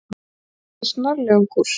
Hann skipti snarlega um kúrs.